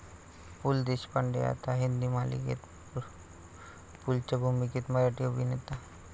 पु. ल. देशपांडे आता हिंदी मालिकेत, पुलंच्या भूमिकेत मराठी अभिनेता